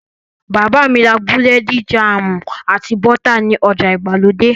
Bàbá mi ra búrẹ́dì, jáàmù, àti bọ́tà ní ọjà ìgbàlódé.